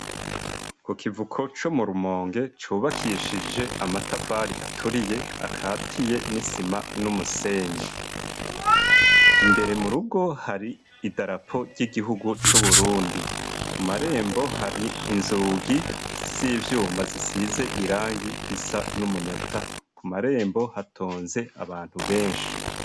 Ku kivuko co mu Rumonge cubakishije amatafari aturiye akatiye n'isima n'umusenyi. Imbere mu rugo, har'idarapo ry'igihugu c'Uburundi. Ku ma rembo, har'inzugi z'ivyuma zisize irangi risa n'umunyota. Ku marembo hatonze abantu benshi.